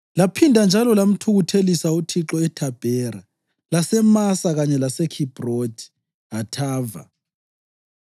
Laphinda njalo lamthukuthelisa uThixo eThabhera, laseMasa kanye laseKhibhrothi Hathava.